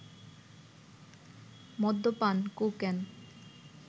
মদ্যপান, কোকেন